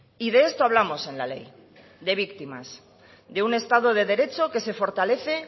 y de esto hablamos en la ley de víctimas de un estado de derecho que se fortalece